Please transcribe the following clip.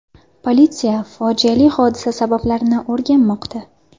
Politsiya fojiali hodisa sabablarini o‘rganmoqda.